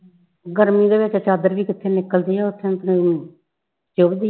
ਗਰਮੀ ਦੇ ਵਿਚ ਚਾਦਰ ਵੀ ਕਿਥੇ ਨਿਕਲਦੀ ਆ ਉਥੇ ਚੁੱਭਦੀ